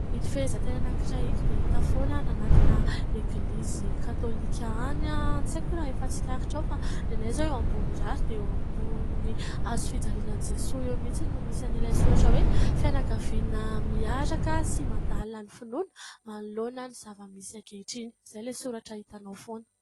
Ito fehezanteny anankiray ito dia hita foana anatina eglizy katolika any. Tsy haiko raha efa tsikaritrao fa ny anay izao eo Ambomirary dia eo ambonin'ny hazofijaliana an'i Jesoa eo mitsiny no misy an'ilay soratra hoe : "fianakaviana miaraka sy mandala ny finoana manoloana ny zava-misy ankehitriny" izay ilay soratra hitanao foana.